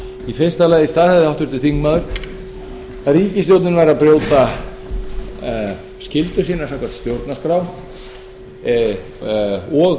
í fyrsta lagi staðhæfði háttvirtur þingmaður að ríkisstjórnin væri að brjóta skyldu sína samkvæmt stjórnarskrá og